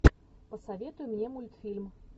посоветуй мне мультфильм